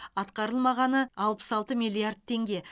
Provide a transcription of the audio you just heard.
атқарылмағаны алпыс алты миллиард теңге